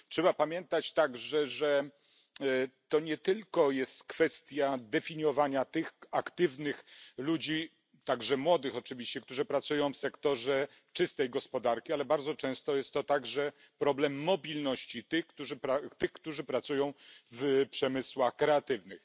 Trzeba pamiętać także, że to nie tylko jest kwestia definiowania tych aktywnych ludzi, także młodych oczywiście, którzy pracują w sektorze czystej gospodarki, ale bardzo często jest to także problem mobilności tych, którzy pracują w przemysłach kreatywnych.